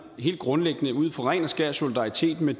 helt grundlæggende ud fra ren og skær solidaritet med